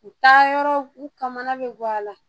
U taa yɔrɔ u kamana bi gan a la